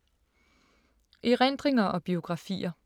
Erindringer og biografier